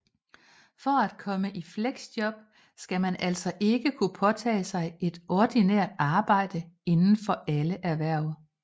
For at komme i fleksjob skal man altså ikke kunne påtage sig et ordinært arbejde inden for alle erhverv